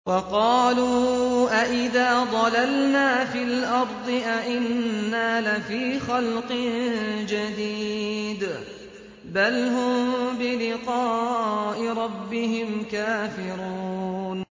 وَقَالُوا أَإِذَا ضَلَلْنَا فِي الْأَرْضِ أَإِنَّا لَفِي خَلْقٍ جَدِيدٍ ۚ بَلْ هُم بِلِقَاءِ رَبِّهِمْ كَافِرُونَ